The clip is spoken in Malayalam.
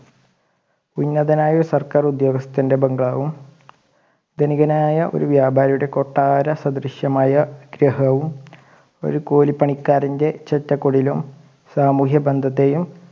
ഉന്നതനായ ഒരു സർക്കാർ ഉദ്യോഗസ്ഥൻ്റെ ബംഗ്ലാവും ധനികനായ ഒരു വ്യാപാരിയുടെ കൊട്ടാരസദൃശ്യമായ ഗൃഹവും ഒരു കൂലി പണിക്കാരൻ്റെ ചെറ്റകുടിലും സാമൂഹ്യ ബന്ധത്തേയും